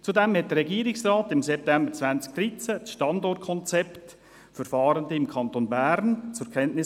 Zudem nahm der Regierungsrat im September 2013 das «Standortkonzept für Fahrende im Kanton Bern» zur Kenntnis.